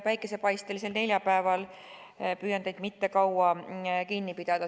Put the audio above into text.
Päikesepaistelisel neljapäeval püüan teid mitte kaua kinni pidada.